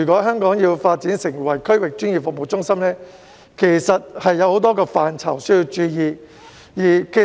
香港若要發展成為區域專業服務中心，有多個範疇需要注意。